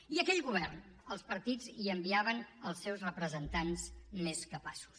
i a aquell govern els partits hi enviaven els seus representants més capaços